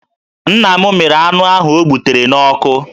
Nna m mịrị anụ ahụ o gbutere n'ọkụ